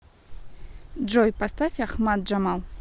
джой поставь ахмад джамал